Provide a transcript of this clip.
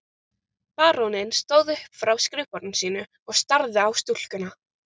Baróninn stóð upp frá skrifborði sínu og starði á stúlkuna.